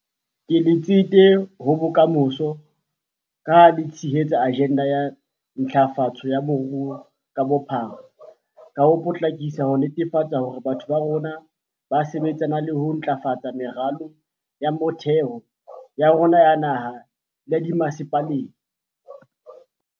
Ke letsete ho bokamoso, ka ha le tshehetsa ajenda ya ntlafatso ya moruo ka bophara ka ho potlakisa ho netefatsa hore batho ba rona ba sebetsana le ho ntlafatsa meralo ya motheo ya rona ya naha le ya dimmasepaleng.